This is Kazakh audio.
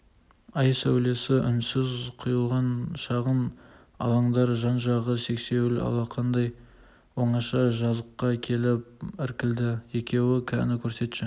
ай сәулесі үнсіз құйылған шағын алаңдар жан-жағы сексеуіл алақандай оңаша жазыққа келіп іркілді екеуі кәні көрсетші